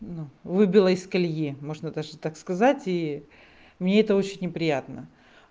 ну выбило из колеи можно даже так сказать и мне это очень не приятно